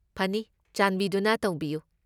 ꯐꯅꯤ꯫ ꯆꯥꯟꯕꯤꯗꯨꯅ ꯇꯧꯕꯤꯌꯨ!